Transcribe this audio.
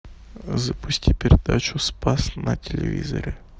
запусти передачу спас на телевизоре